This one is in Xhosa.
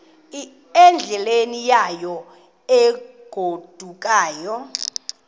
endleleni yayo egodukayo